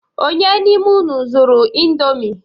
Ònye n'ime unu zuru indomie?